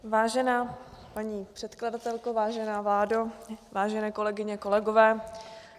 Vážená paní předkladatelko, vážená vládo, vážené kolegyně, kolegové.